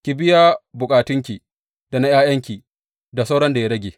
Ki biya bukatanki da na ’ya’yanki da sauran da ya rage.